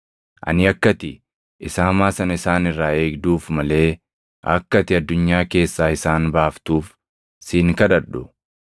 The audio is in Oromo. Ani akka ati isa hamaa sana isaan irraa eegduuf malee akka ati addunyaa keessaa isaan baaftuuf si hin kadhadhu.